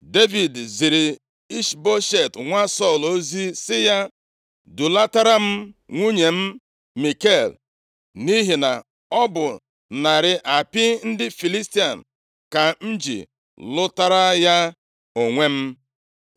Devid ziri Ishboshet nwa Sọl ozi sị ya, “Dulatara m nwunye m Mikal, nʼihi na ọ bụ narị apị ndị Filistia ka m ji lụtara ya onwe m.”